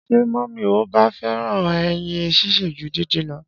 Ṣé mọmi o ba fẹràn ẹyin ṣíṣe ju dindin lọ?